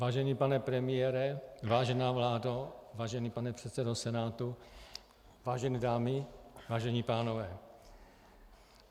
Vážený pane premiére, vážená vládo, vážený pane předsedo Senátu, vážené dámy, vážení pánové.